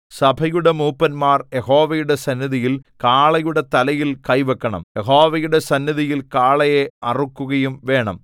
സഭയുടെ മൂപ്പന്മാർ യഹോവയുടെ സന്നിധിയിൽ കാളയുടെ തലയിൽ കൈ വെക്കണം യഹോവയുടെ സന്നിധിയിൽ കാളയെ അറുക്കുകയും വേണം